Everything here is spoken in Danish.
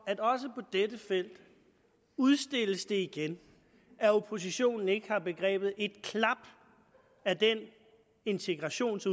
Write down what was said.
at også på dette felt udstilles det igen at oppositionen ikke har begrebet et klap af den integrations